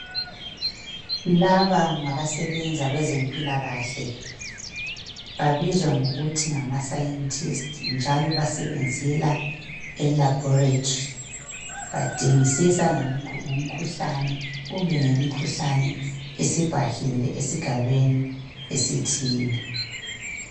Laba ngabasebenza kwezempilakahle babizwa ngokuthi ngama scientist njalo basebenzela elaboratory badingisisa ngemikhuhlane kumbe ngemikhuhlane esibhahile esigabeni esithile.